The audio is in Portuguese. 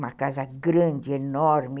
Uma casa grande, enorme.